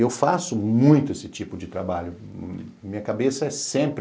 Eu faço muito esse tipo de trabalho, minha cabeça é sempre...